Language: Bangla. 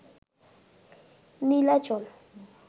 নীলাচল